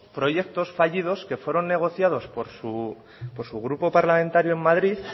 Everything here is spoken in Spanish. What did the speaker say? proyectos fallidos que fueron negociados por su grupo parlamentario en madrid